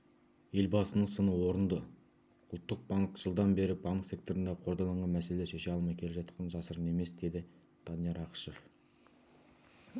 елбасының сыны орынды ұлттық банк жылдан бері банк секторындағы қордаланған мәселелерді шеше алмай келе жатқаны жасырын емес деді данияр ақышев